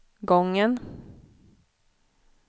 gången